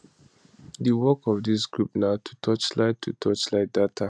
di work of dis group na to torchlight to torchlight data